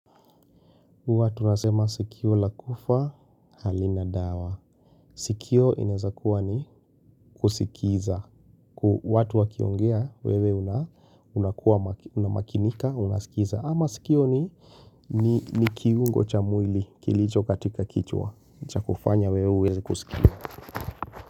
Huwa tunasema sikio la kufa, halina dawa. Sikio inaezakuwa ni kusikiza. Watu wakiongea, wewe unakua, unamakinika, unaskiza. Ama sikio ni kiungo cha mwili, kilicho katika kichwa. Chakufanya wewe huwezi kusikia.